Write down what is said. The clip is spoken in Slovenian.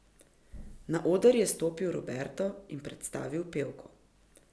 Na oder je stopil Roberto in predstavil pevko.